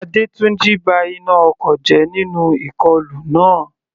Adetunji ba iná ọkọ̀ jẹ́ nínú ìkọlù náà.